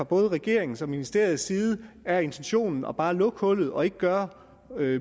både regeringens og ministeriets side er intentionen bare at lukke hullet og ikke gøre